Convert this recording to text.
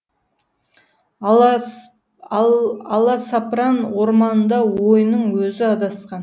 аласапран орманында ойының өзі адасқан